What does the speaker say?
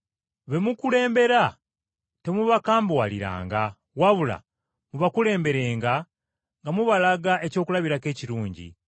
Be mukulembera temubakambuwaliranga wabula mubakulemberenga nga mubalaga ekyokulabirako ekirungi.